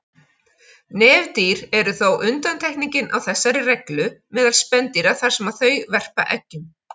Nefdýr eru þó undantekningin á þessari reglu meðal spendýra þar sem þau verpa eggjum.